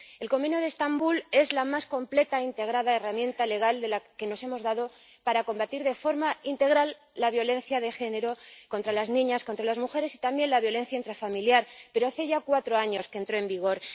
El Convenio de Estambul es la herramienta legal más completa e integrada de que nos hemos dotado para combatir de forma integral la violencia de género contra las niñas, contra las mujeres y también la violencia intrafamiliar, pero hace ya cuatro años que entró en vigor.